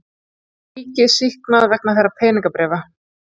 Ríkið sýknað vegna peningabréfa